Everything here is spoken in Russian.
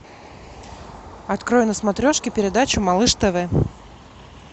открой на смотрешке передачу малыш тв